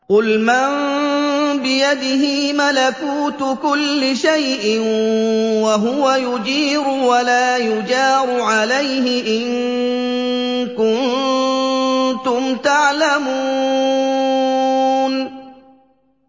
قُلْ مَن بِيَدِهِ مَلَكُوتُ كُلِّ شَيْءٍ وَهُوَ يُجِيرُ وَلَا يُجَارُ عَلَيْهِ إِن كُنتُمْ تَعْلَمُونَ